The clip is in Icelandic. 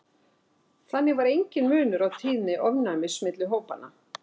Þannig var enginn munur á tíðni ofnæmis milli hópanna.